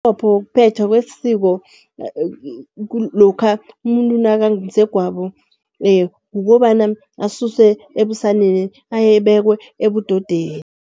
Umqopho wokuphethwa kwesiko lokha umuntu nakangumsegwabo kukobana asuswe ebusaneni abekwe ebudodeni.